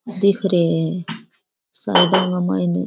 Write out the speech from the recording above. दिख रे है साइड के मायने --